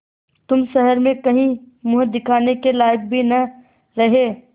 तुम शहर में कहीं मुँह दिखाने के लायक भी न रहे